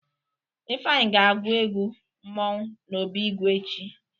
Ifeanyị ga-agwụ egwu mmọnwụ n'obi ìgwè echi.